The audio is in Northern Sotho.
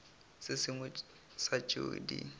se sengwe sa tšeo di